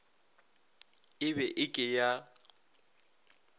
e be e ke ya